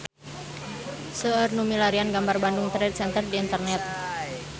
Seueur nu milarian gambar Bandung Trade Center di internet